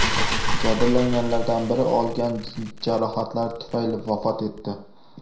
Jabrlanganlardan biri olgan jarohatlari tufayli vafot etdi.